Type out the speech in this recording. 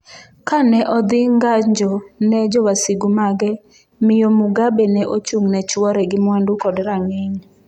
Ka ne odhi ng’anjo ne jowasigu mage, Miyo Mugabe ne ochung’ ne chwore gi mwandu kod rang’iny.